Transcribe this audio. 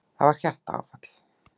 Það var hjartaáfall.